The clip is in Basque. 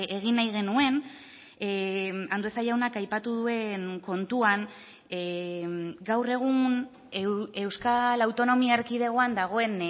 egin nahi genuen andueza jaunak aipatu duen kontuan gaur egun euskal autonomia erkidegoan dagoen